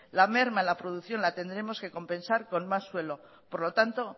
la merma en la producción la tendremos que compensar con más suelo por lo tanto